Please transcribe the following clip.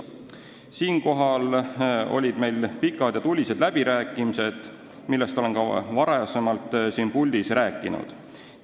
Sellel teemal olid meil pikad ja tulised läbirääkimised, millest olen ka varem siin puldis rääkinud.